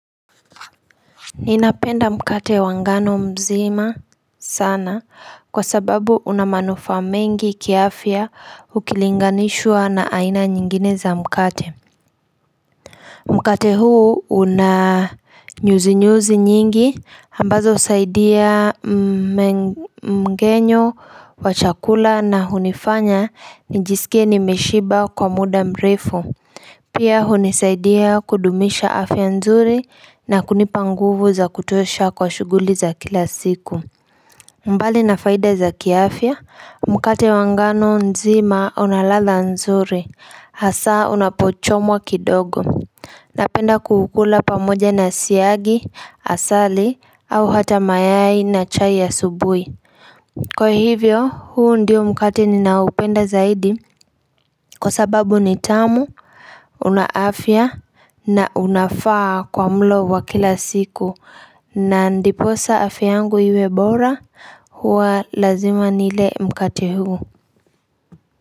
Ninapenda mkate wangano mzima sana kwa sababu unamanufa mengi kia afia ukilinganishwa na aina nyingine za mkate Mkate huu unanyuzi nyuzi nyingi ambazo usaidia mgenyo wa chakula na hunifanya nijisikie nimeshiba kwa muda mrefu Pia hunisaidia kudumisha afya nzuri na kunipanguvu za kutosha kwa shuguli za kila siku. Mbali na faida za kiafya, mkate wangano nzima unalatha nzuri, hasa unapochomwa kidogo. Napenda kuhukula pamoja na siagi, hasali, au hata mayai na chai ya asubui. Kwa hivyo huu ndio mkate ninaupenda zaidi kwa sababu nitamu unaafia na unafaa kwa mlo wa kila siku na ndiposa afiangu hiwe bora hua lazima nile mkate huu.